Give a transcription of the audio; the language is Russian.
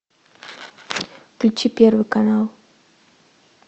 включи первый канал